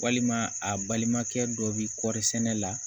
Walima a balimakɛ dɔ bi kɔri sɛnɛ la